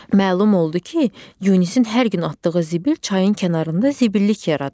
Məlum oldu ki, Yunisin hər gün atdığı zibil çayın kənarında zibillik yaradıb.